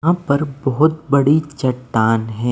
हां पर बहुत बड़ी चट्टान है।